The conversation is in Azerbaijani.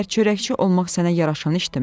Məgər çörəkçi olmaq sənə yaraşan işdimi?